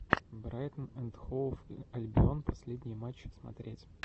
брайтон энд хоув альбион последний матч смотреть